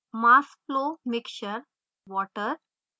mass flow mixture/water